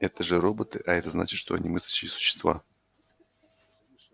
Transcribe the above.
это же роботы а это значит что они мыслящие существа